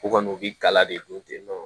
U kɔni u bi gala de don ten nɔ